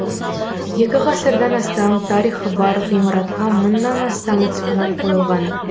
екі ғасырдан астам тарихы бар ғимаратқа мыңнан астам экспонат қойылған